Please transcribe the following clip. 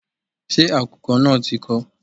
Ṣé àkùkọ náà ti kọ?